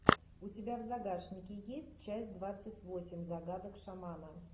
у тебя в загашнике есть часть двадцать восемь загадок шамана